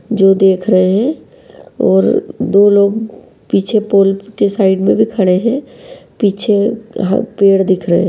जो देख रहे हैं वो दो लोग पीछे पुल के साइड में भी खड़े हैं। पीछे यहां पेड़ दिख रहे हैं।